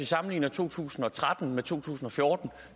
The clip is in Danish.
sammenligner to tusind og tretten med to tusind og fjorten